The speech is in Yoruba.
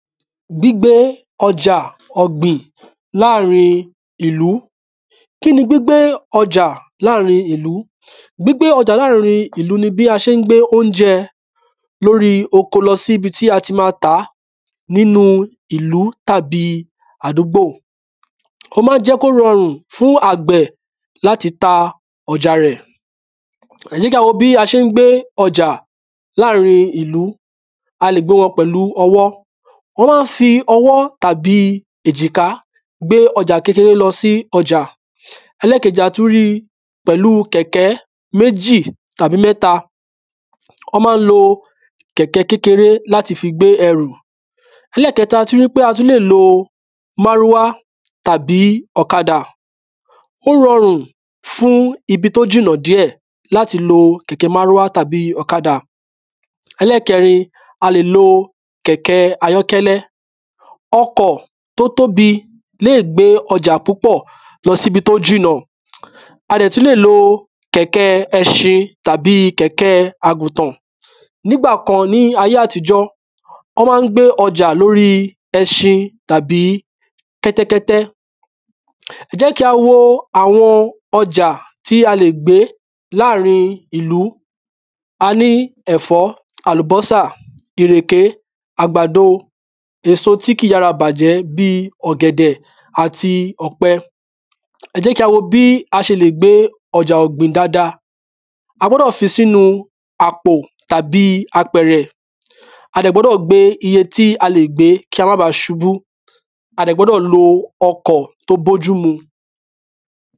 Gbígbé ọjà ọ̀gbìn láàrin ìlú. Kí ni gbígbé ọjà ọ̀gbìn láàrin ìlú? Gbígbé ọjà ọ̀gbìn láàrin ìlú ni bí a ṣé n gbé óunjẹ l’órí oko lọ sí ibi tí a ti ma tàá nínu ìlú tàbí àdúgbò Ó má ń jẹ́ k’ó rọrùn fún àgbẹ̀ l’áti ta ọjà rẹ̀ Ẹ́ jẹ́ k’á wo bí wọ́n ṣé ń ko ọjà láàrin ìlú A lè gbé won pẹ̀lú ọwọ́ Wọ́n má ń fi ọwọ́ tàbí èjìká gbé ọjà kékeré lọ sí ọjà Ẹlẹ́kejì, a tú rí pẹ̀lú kẹ̀kẹ́ méjì tàbí mẹ́ta. Ọ́ má ń lo kẹ̀kẹ́ kékeré l’áti fi gbé ẹrù Ẹlẹ́kẹta, a tú rí pé a tú lè lo márúwá tàbí ọ̀kadà. Ó rọrùn fún ibi t’ó jìnà díẹ̀ l’áti lo kẹ̀kẹ́ márúwá tàbí ọ̀kadà. Ẹlẹ́kẹrin, a lè lo kẹ̀kẹ ayọ́kẹ́lẹ́. Ọkọ̀ t’ó tóbi léè gbé ọjà púpọ̀ lọ sí ‘bi t’ó jìnà. A dẹ̀ tú lè lo kẹ̀kẹ́ẹ ẹṣin tàbí kẹ̀kẹ́ẹ agùntàn. Ní’gbà kan ní ayé àtijọ ọ́ má ń gbé ọjà lo’órí ẹṣin tàbí kẹ́tẹ́kẹ́tẹ́ Ẹ jẹ́ kí a wo àwọn ọjà tí a lè gbé láàrin ìlú A ní ẹ̀fọ́, àlùbọ́sà, ìrèké, àgbàdo èso tí kìí yára bàjẹ́ bíi ọ̀gẹ̀dẹ̀ àti ọ̀pẹ. Ẹ jẹ́ kí a wo bí a ṣe lè gbé ọjà ọ̀gbìn dada. A gbọ́dọ̀ fi sínu àpò tàbí apẹ̀rẹ̀. A dẹ̀ gbọ́dọ̀ gbé iye tí a lè gbé kí a má bá ṣubú. A dẹ̀ gbọ́dọ̀ lo ọkọ̀ t’ó b’ójúmu.